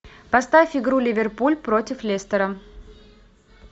поставь игру ливерпуль против лестера